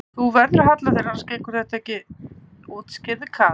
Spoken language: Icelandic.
Þú verður að halla þér annars gengur þetta ekki útskýrði Kata.